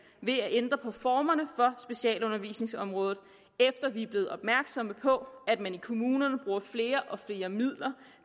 ved at ændre specialundervisningsområdet efter at vi er blevet opmærksomme på at man i kommunerne bruger flere og flere midler